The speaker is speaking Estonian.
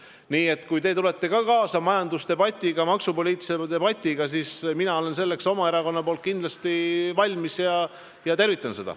Nii et kui te tulete ka kaasa majandusdebatiga, maksupoliitilise debatiga, siis mina olen selleks oma erakonna nimel kindlasti valmis ja tervitan seda.